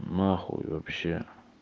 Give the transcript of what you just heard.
на хуй вообще